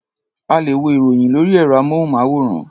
A lè wo ìròyìn lórí ẹ̀rọ-amóhùnmáwòrán.